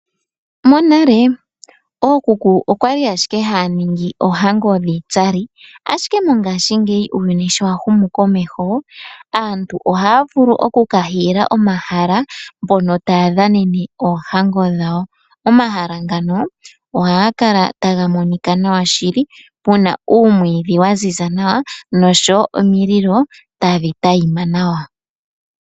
Monale ookuku okwali ashike haya ningi oohango dhiitsali, ashike mongaashingeyi uuyuni sho wa humu komeho, aantu oha ya vulu oku ka hiila omahala, mpono taya dhanene oohango dhawo. Omahala ngano ohaga kala taga monika nawa shili, puna uumwiidhi wa ziza nawa, nosho wo omililo tadhi tayima nawa.